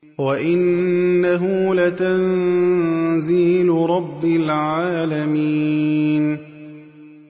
وَإِنَّهُ لَتَنزِيلُ رَبِّ الْعَالَمِينَ